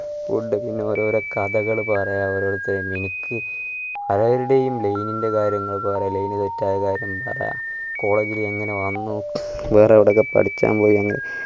food പിന്നെ ഓരൊരു കഥകള് പറയാ പിന്നെ ഓരോരുത്തരുടെ എം പലരുടെയും line ൻ്റെ കാര്യങ്ങൾ പറയാ line set ആയ കാര്യം പറയാ college ഇലെങ്ങനെ വന്നു വേറെ എവിടെക്കെ പഠിക്കാൻ പോയി അങ്ങനെ